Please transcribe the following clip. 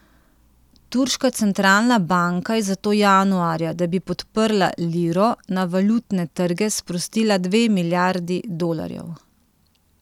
Turška centralna banka je zato januarja, da bi podprla liro, na valutne trge sprostila dve milijardi dolarjev.